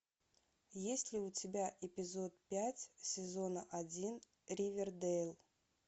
есть ли у тебя эпизод пять сезона один ривердэйл